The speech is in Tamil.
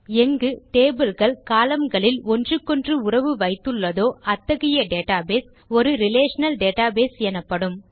எங்கு டேபிள் கள் கோலம்ன் களில் ஒன்றுக்கொன்று உறவு வைத்துள்ளதோ அத்தகைய டேட்டாபேஸ் ஒரு ரிலேஷனல் டேட்டாபேஸ் எனப்படும்